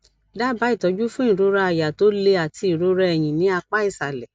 daba itọjú fún ìrora àyà to le àti ìrora ẹyìn ní apá ìsàlẹ